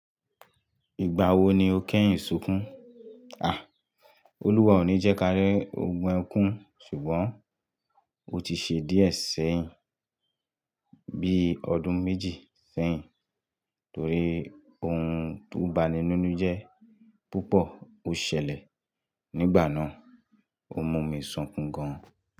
Ìgbà wo ni o kẹ́yìn sunkún? Olúwa ò ní jẹ́ kía rí ogun ẹkún, ṣùgbọ́n ó ti ṣe díẹ̀ sẹ́yìn bíi ọdún méjì sẹ́yìn torí ohun tó bani ni inu je púpọ̀ ó ṣẹlẹ̀ nígbà náà. Ó mú mi sunkún gan.